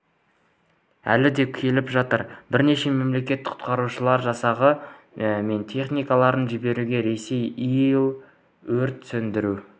әлі де келіп жатыр бірнеше мемлекет құтқарушылар жасағы мен техникаларын жіберуде ресей ил өрт сөндіру